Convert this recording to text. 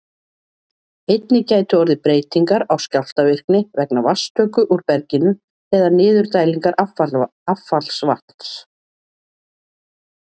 Einnig gætu orðið breytingar á skjálftavirkni vegna vatnstöku úr berginu eða niðurdælingar affallsvatns.